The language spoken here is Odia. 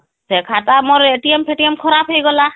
ସେ ଖାତା ମୋର ଫେଟିଏମ ଖରାପ ହେଇଗଲା